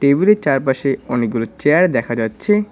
Table -এর চারপাশে অনেকগুলো চেয়ার দেখা যাচ্ছে।